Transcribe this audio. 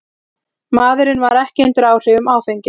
Maðurinn var ekki undir áhrifum áfengis